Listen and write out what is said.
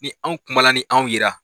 Ni anw kuma ni anw yera.